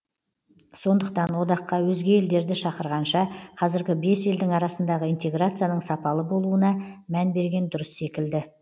сондықтан одаққа өзге елдерді шақырғанша қазіргі бес елдің арасындағы интеграцияның сапалы болуына мән берген дұрыс секілді